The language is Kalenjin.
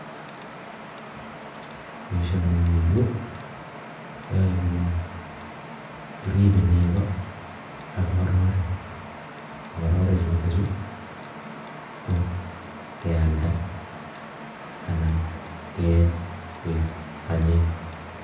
Boishonii me yuu keae ko unii kiribe nego AK ngororek , ngororek chutok chuu kealdai anan keeny koek chepkondok